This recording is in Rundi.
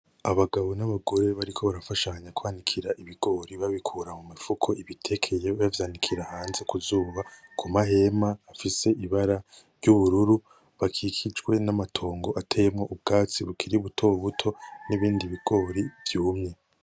Abagabo n’abagore bariko barafashanya kwanikira ibigori babikura mu mifuko ibitekeye bavyanikira hanze ku zuba, ku mahema afise ibara ry’ubururu bakikijwe n’amatongo ateyemwo ubwatsi bukiri buto buto n’ibindi bigori vyumye.